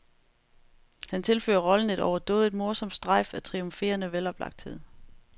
Han tilfører rollen et overdådigt morsomt strejf af triumferende veloplagthed.